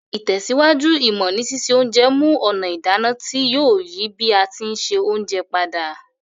Ìtẹ̀síwájú ìmọ́ ni sise onje mu ònà ìdáná ti yio yi bi a ti n se ounje padà